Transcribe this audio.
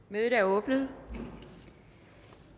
mødet er åbnet